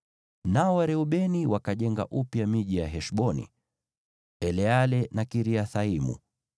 Nao Wareubeni wakajenga upya miji ya Heshboni, Eleale na Kiriathaimu,